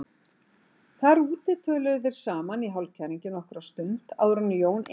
Þar úti töluðu þeir þrír saman í hálfkæringi nokkra stund áður en Jón innti